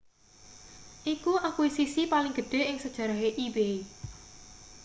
iku akuisisi paling gedhe ing sejarahe ebay